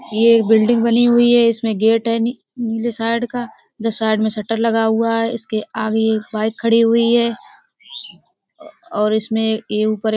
ये एक बिल्डिंग बनी हुई है इसमें गेट है नी नीले साइड का जो साइड में शटर लगा हुआ है उसके आगे बाइक खड़ी हुई है औ और इसमें ये ऊपर --